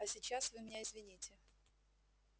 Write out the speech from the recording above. а сейчас вы меня извините